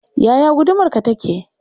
Yaya gudumarka take?